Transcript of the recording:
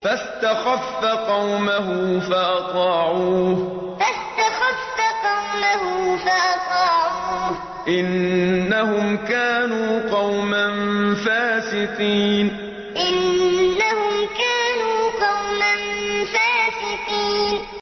فَاسْتَخَفَّ قَوْمَهُ فَأَطَاعُوهُ ۚ إِنَّهُمْ كَانُوا قَوْمًا فَاسِقِينَ فَاسْتَخَفَّ قَوْمَهُ فَأَطَاعُوهُ ۚ إِنَّهُمْ كَانُوا قَوْمًا فَاسِقِينَ